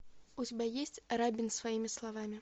у тебя есть рабин своими словами